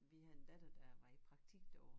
Vi havde en datter der var i praktik derovre